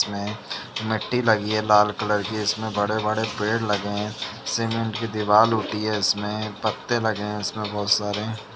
इसमें मिट्टी लगी हैं लाल कलर की इसमें बड़े-बड़े पेड़ लगे हैं। सीमेंट की दिवार होती हैं इसमें पत्ते लगे हैं इसमें बोहोत सारे।